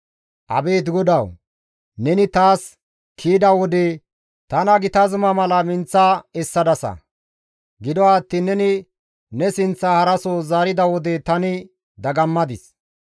Abeet GODAWU! Neni taas kiyida wode, tana gita zuma mala minththa essadasa; gido attiin neni ne sinththaa taappe haraso zaarida wode tani dagammadis.